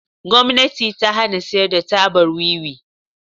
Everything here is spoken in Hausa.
Gwamnati ta hana siyar da tabar Wiwi.